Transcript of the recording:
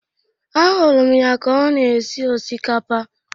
Ahụrụ m ya ka ọ na-esi osikapa